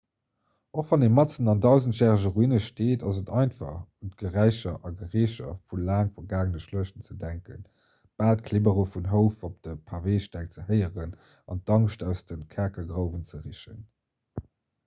och wann ee matzen an dausendjärege ruine steet ass et einfach un d'geräicher a gerécher vu laang vergaangene schluechten ze denken bal d'klibbere vun houf op de paveesteng ze héieren an d'angscht aus de kerkergrouwen ze richen